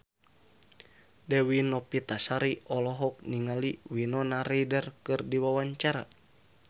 Dewi Novitasari olohok ningali Winona Ryder keur diwawancara